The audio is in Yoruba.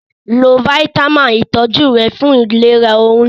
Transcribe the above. Lo fáítámà ìtọjú rẹ fún ìlera oyún